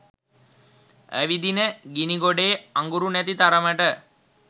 ඇවිදින ගිණිගොඩේ අඟුරු නැති තරමට